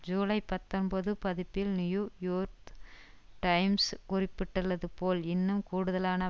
ஜூலை பத்தொன்பது பதிப்பில் New York Times குறிப்பிட்டுள்ளது போல் இன்னும் கூடுதலான